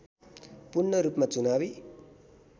पूर्णरूपमा चुनावी